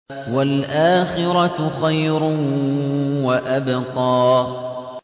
وَالْآخِرَةُ خَيْرٌ وَأَبْقَىٰ